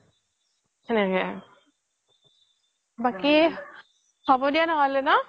সেনেকে বাকী হ'ব দিয়া নহলে ন